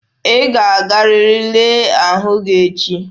Ị ga-agarịrị lelee ahụ gị echi!